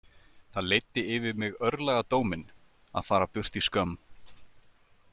Það leiddi yfir mig örlagadóminn- að fara burt í skömm.